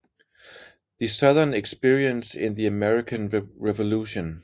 The Southern Experience in the American Revolution